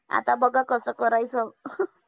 आता बघा कसं करायचं.